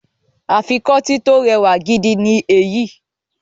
Afikọ́tí tó rẹwà gidi ni èyí